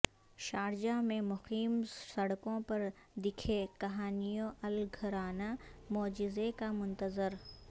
Sharjah میں مقیم سڑکوں پر دھکے کھانیوالاگھرانہ معجزے کا منتظر